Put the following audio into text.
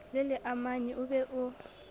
le leamanyi o be o